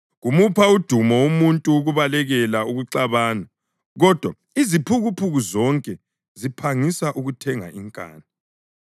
Kumupha udumo umuntu ukubalekela ukuxabana, kodwa iziphukuphuku zonke ziphangisa ukuthenga inkani.